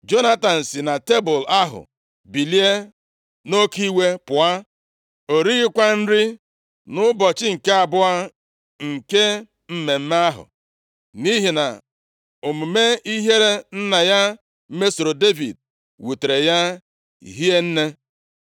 Jonatan si na tebul ahụ bilie nʼoke iwe pụọ, o righịkwa nri nʼụbọchị nke abụọ nke mmemme ahụ, nʼihi na omume ihere nna ya mesoro Devid wutere ya hie nne.